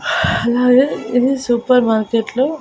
అలాగే ఇది సూపర్ మార్కెట్లో --